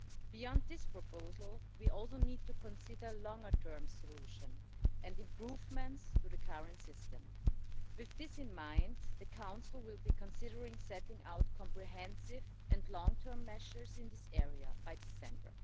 Beyond that proposal, we also need to consider a longer term solution and improvements to the current system. With this in mind, the Council will be considering setting out comprehensive and long-term measures in this area by December.